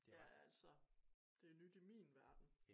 Ja altså det nyt i min verden